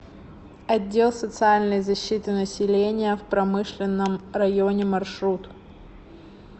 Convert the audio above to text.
отдел социальной защиты населения в промышленном районе маршрут